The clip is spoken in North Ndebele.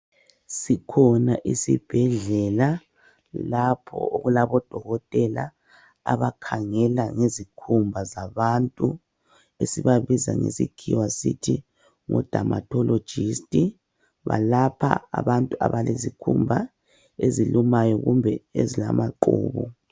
Sikhona isibhedlela lapho okulabo Dokotela abakhangela ngezikhumba zabantu esibabiza ngesikhiwa sisithi ngo Dermatologist . Balapha abantu abalezikhumba ezilumayo kumbe ezilamaqhubu.